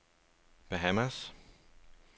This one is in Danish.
Bahamas